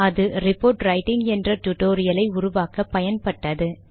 அது report writing என்ற டுடோரியலை உருவாக்க பயன்பட்டது